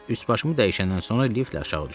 Üst başımı dəyişəndən sonra liftlə aşağı düşdüm.